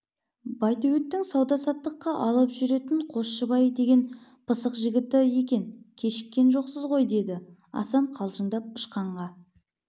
байтөбеттің сауда-саттыққа алып жүретін қосшыбай деген пысық жігіті екен кешіккен жоқсыз ғой деді асан қалжыңдап ышқанға